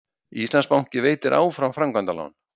Íslandsbanki veitir áfram framkvæmdalán